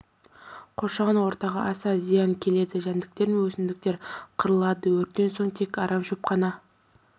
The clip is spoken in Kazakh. қоршаған ортаға аса зиян келеді жәндіктер мен өсімдіктер қырылады өрттен соң тек арам шөп қана